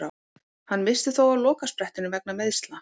Hann missti þó af lokasprettinum vegna meiðsla.